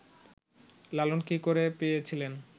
লালন কী করে পেয়েছিলেন